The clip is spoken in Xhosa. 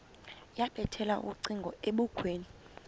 yabethela ucingo ebukhweni